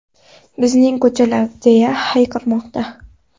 Bizning ko‘chalar!”, deya hayqirmoqda.